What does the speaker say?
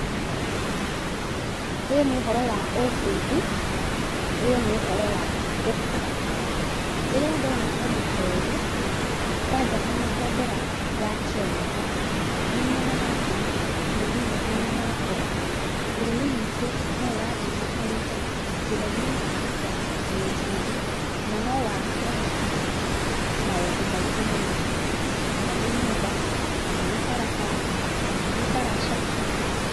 Ũyũ nĩ ũhoro wa ũbundi , ũyũ nĩ ũhoro wa gũkũra, rĩrĩa ndona ũndũ ta ũyũ kwaja hena bendera ya Kenya ho, nĩ nyonaga atĩ bũrũri witũ nĩ ũrakũra bũrũri witũ no ũrathiĩ ũkũrĩte njĩra-inĩ ya kĩũbundi , na no wake maũndũ maingĩ mũno kana nĩ nyũmba kana nĩ barabara , kana nĩ ndaraca.